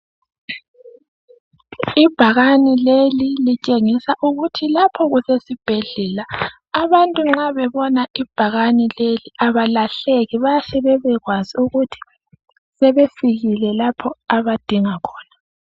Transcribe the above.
ibhakane leli litshengisa ukuthi lapho kusesibhedlela abantu nxa bebona ibhakane leli abalahleki bayahle bebekwazi ukuthi sebefikile lapho abadinga khona